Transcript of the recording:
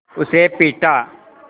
उसे पीटा